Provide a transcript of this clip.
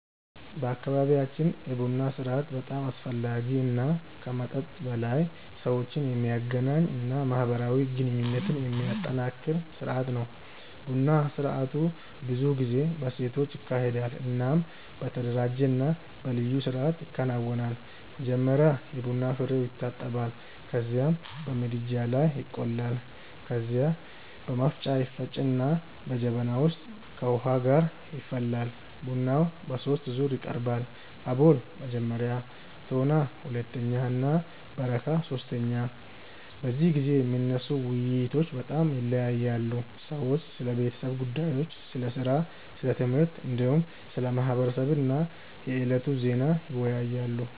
በአካባቢያችን የቡና ስርአት በጣም አስፈላጊ እና ከመጠጥ በላይ ሰዎችን የሚያገናኝ እና ማህበራዊ ግንኙነትን የሚያጠናክር ስርአት ነው። ቡና ስርአቱ ብዙ ጊዜ በሴቶች ይካሄዳል እናም በተደራጀ እና በልዩ ስርአት ይከናወናል። መጀመሪያ የቡና ፍሬዉ ይታጠባል ከዚያም በምድጃ ላይ ይቆላል። ከዚያ በመፍጫ ይፈጭና በጀበና ውስጥ ከውሃ ጋር ይፈላል። ቡናው በሶስት ዙር ይቀርባል፤ አቦል (መጀመሪያ)፣ ቶና (ሁለተኛ) እና በረካ (ሶስተኛ)። በዚህ ጊዜ የሚነሱ ውይይቶች በጣም ይለያያሉ። ሰዎች ስለ ቤተሰብ ጉዳዮች፣ ስለ ሥራ፣ ስለ ትምህርት፣ እንዲሁም ስለ ማህበረሰብ እና የዕለቱ ዜና ይወያያሉ።